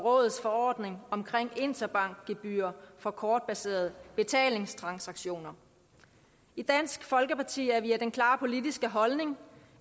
og rådets forordning om interbankgebyrer for kortbaserede betalingstransaktioner i dansk folkeparti har vi den klare politiske holdning